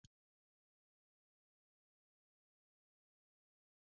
Sigurleifur, spilaðu lagið „Ástardúett“.